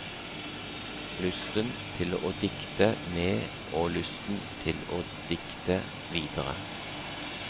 Lysten til å dikte med og lysten til å dikte videre.